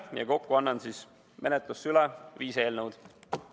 Kokku annan menetlusse viis eelnõu.